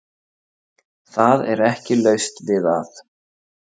Það er ekki laust við að